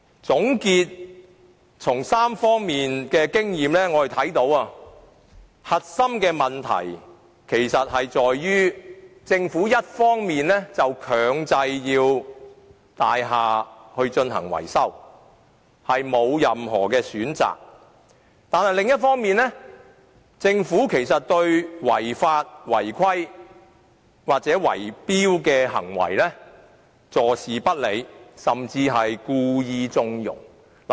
總結3方面的經驗，我看到核心問題其實在於：一方面，政府強制大廈進行維修，業主全無選擇；但另一方面，政府對違法、違規的圍標行為坐視不理，甚至故意縱容。